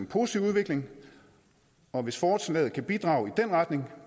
positiv udvikling og hvis forslaget kan bidrage i den retning